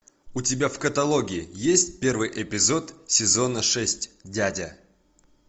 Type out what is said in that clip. у тебя в каталоге есть первый эпизод сезона шесть дядя